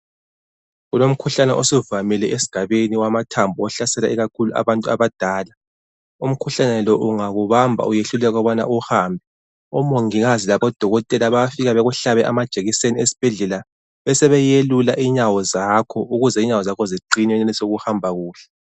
Kulomkhuhlane osuvamile esigabeni owamathambo ohlasela ikakhulu abantu abadala. Umkhuhlane lo ungakubamba uyehluleka ukubana uhambe. Omongikazi labodokotela bayafika bekuhlabe amajekiseni esibhedlela besebeyelula inyawo zakho ukuze inyawo zakho ziqine wenelise ukuhamba kuhle.